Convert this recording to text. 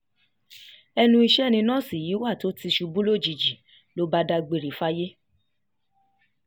ẹnu iṣẹ́ ni nọ́ọ̀sì yìí wà tó ti ṣubú lójijì ló bá dágbére fáyé